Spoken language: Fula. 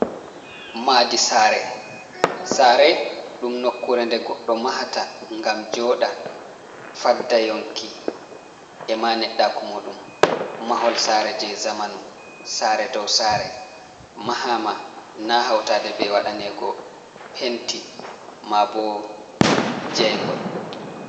Madi sare, Sare ɗum nokkure nde goɗɗo mahata gam joɗa fadda yonki e ma neɗɗaku muɗum, Mahol sare je zamanu sare ɗow sare mahama na hautaɗe ɓe waɗanego penti mabo jayngol.